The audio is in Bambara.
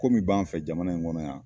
Ko min b'an fɛ jamana in kɔnɔ yan